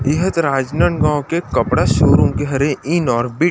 इह दे राजनांदगांव के कपड़ा शोरूम के हरे इन और बिट --